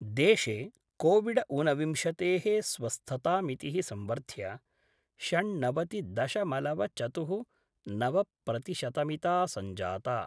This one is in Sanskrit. देशे कोविडऊनविंशतेः स्वस्थतामितिः संवर्ध्य षण्णवति दशमलव चतुः, नवप्रतिशतमिता संजाता।